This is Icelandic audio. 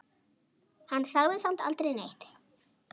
Hann sagði samt aldrei neitt.